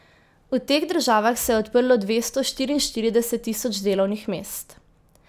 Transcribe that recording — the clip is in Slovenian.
V teh državah se je odprlo dvesto štiriinštirideset tisoč delovnih mest.